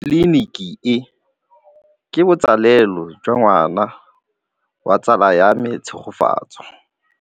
Tleliniki e, ke botsalêlô jwa ngwana wa tsala ya me Tshegofatso.